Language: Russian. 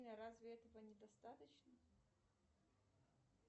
разве этого недостаточно